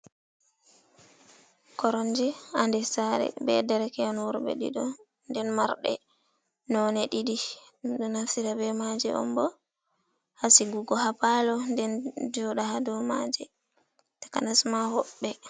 Koromje ha nder sare be dereke’en worɓe ɗiɗo, den marde none ɗiɗi. Den ɗum ɗo naftira be maje on bo ha sigugo ha palo, den joɗa ha dou maje takanas ma hoɓɓe.